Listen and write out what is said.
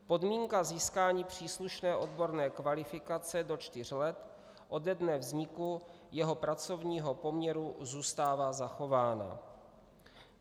Podmínka získání příslušné odborné kvalifikace do čtyř let ode dne vzniku jeho pracovního poměru zůstává zachována.